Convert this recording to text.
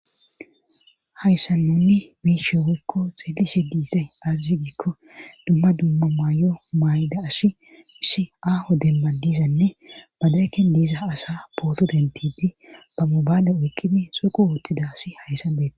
hayssa nunni biishe woykko xeelishe diisay aazas giikko dumma dumma maay7o maayda ash hiss aaho demma dizanne badareken diiza asa booto dentidi ba mobaale oykkidi sooqu wooththidasi hayssan beeta